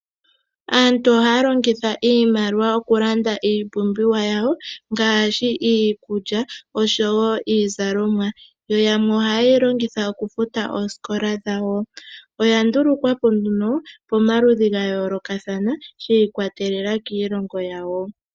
Aantu ohaya longitha iimaliwa okulanda iipumbiwa yawo ngaashi iikulya oshowo iizalomwa, yo yamwe ohayeyi longitha okufuta oosikola dhawo, oya ndulukwapo nduno pomaludhi ga yoolokathana shiikwatelela kiilongo yawo.